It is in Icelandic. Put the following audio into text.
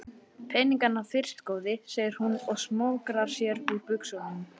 Peningana fyrst góði, segir hún og smokrar sér úr buxunum.